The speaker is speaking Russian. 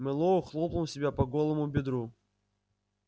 мэллоу хлопнул себя по голому бедру